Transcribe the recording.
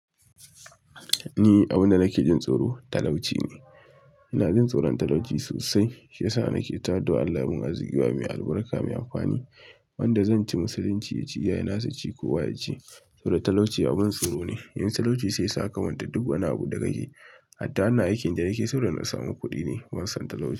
Ni abunda nake jin tsoro talauci ne. Ina jin tsoron talauci sosai shiyasa nake ta addu'ah allah ya bani arziki mai albarka, mai amfani wanda zan ci musulunci ya ci iyayena su ci, kowa yaci saboda talauci abin tsoro ne. Yanzu talauci sai saka manta duk wani abu da kake. Hatta wannan aikin da nake saboda na samu kuɗi ne, ban san talauci.